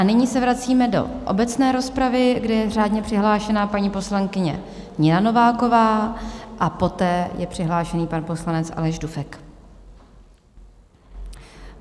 A nyní se vracíme do obecné rozpravy, kde je řádně přihlášená paní poslankyně Nina Nováková a poté je přihlášen pan poslanec Aleš Dufek.